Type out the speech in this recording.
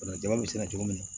jama bɛ sɛnɛ cogo min na